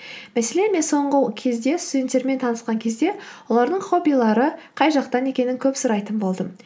мәселен мен соңғы кезде студенттермен танысқан кезде олардың хоббилары қай жақтан екенін көп сұрайтын болдым